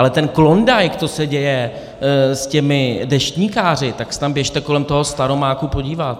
Ale ten klondajk, co se děje s těmi deštníkáři, tak se tam běžte kolem toho Staromáku podívat.